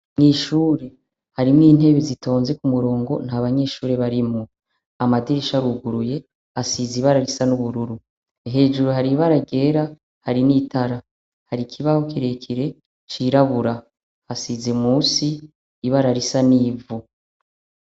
Ishuri harimwo intebe zitonze kumurongo ariko nta banyeshuri barimwo amadirisha aruguruye asize ibara risa n' ubururu hejuru hari ibara ryera hari n' itara hari ikibaho kire kire cirabura hasize musi ibara risa n' ivu.